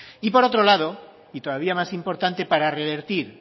y por otro lado y todavía más importante para revertir